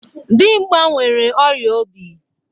Dimgba nwere ọrịa obi.